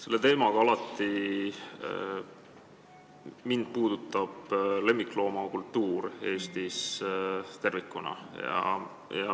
Selle teemaga seoses puudutab mind alati lemmikloomakultuur Eestis tervikuna.